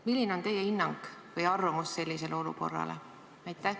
Milline on teie hinnang või arvamus sellise olukorra kohta?